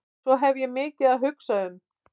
Svo ég hef mikið að hugsa um.